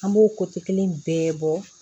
An b'o kelen bɛɛ bɔ